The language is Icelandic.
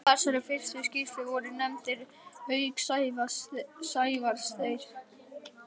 Í þessari fyrstu skýrslu voru nefndir, auk Sævars, þeir